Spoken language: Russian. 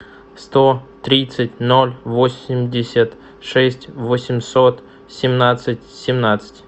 сто тридцать ноль восемьдесят шесть восемьсот семнадцать семнадцать